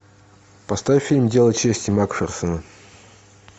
поставь фильм дело чести макферсона